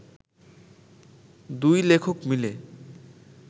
দুই লেখক মিলে